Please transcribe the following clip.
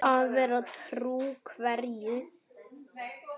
Að vera trú hverju?